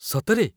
ସତରେ!